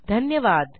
धन्यवाद